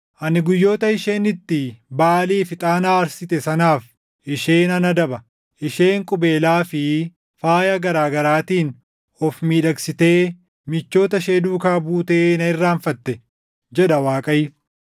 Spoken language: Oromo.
Ani guyyoota isheen itti Baʼaaliif ixaana aarsite sanaaf ishee nan adaba; isheen qubeelaa fi faaya garaa garaatiin of miidhagsitee michoota ishee duukaa butee na irraanfatte” jedha Waaqayyo.